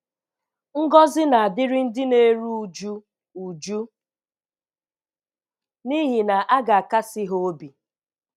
"Ngọzi na-adịrị ndị na-eru uju, uju, n’ihi na a ga-akasi ha obi. "